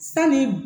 Sanni